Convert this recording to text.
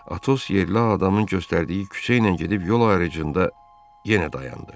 Atos yerli adamın göstərdiyi küçə ilə gedib yol ayrıcında yenə dayandı.